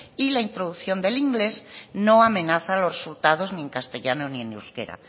y la introducción del inglés no amenaza los resultados ni en castellano ni en euskera